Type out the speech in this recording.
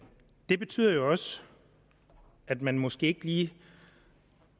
det betyder jo også at man måske ikke